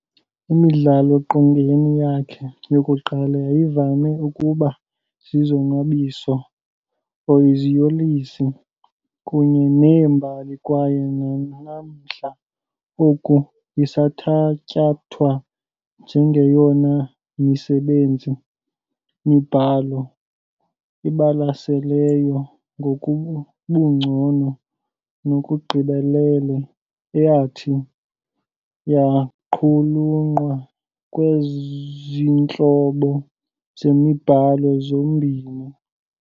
Imidlao-qongeni yakhe yokuqala yayivame ukuba zizonwabiso or iziyolisi kunye nee-mbali kwaye nanamhla oku isathatyathwa njengeyona misebenzi-mibhalo ibalaseleyo ngobungcono nokugqibelela eyathi yaqulunqwa kwezintlobo zemibhalo zombini.